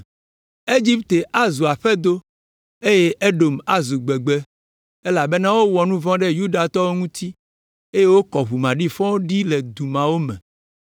Egipte azu aƒedo eye Edom azu gbegbe elabena wowɔ vɔ̃ ɖe Yudatɔwo ŋuti, eye wokɔ ʋu maɖifɔwo ɖi le du mawo me.